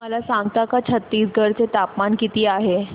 मला सांगता का छत्तीसगढ चे तापमान किती आहे